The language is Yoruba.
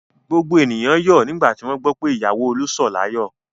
Gbogbo ènìyàn yọ̀ nígbà tí wọ́n gbọ́ pé ìyàwó Olú sọ̀ láyọ̀.